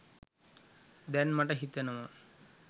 දැන් මට හිතෙනවා.